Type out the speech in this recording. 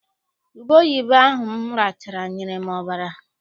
Ubeoyibo ahụ m rachala nyere m ọbara.